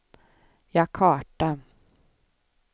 Jakarta